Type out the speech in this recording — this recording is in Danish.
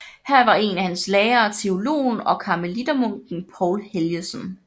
Her var en af hans lærere teologen og karmelittermunken Poul Helgesen